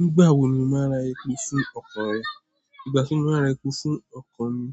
Nígbà wo ni o máa ra epo fún ọkọ̀ rẹ? Ìgbà tí mo máa ra epo sí ọkọ̀ mi,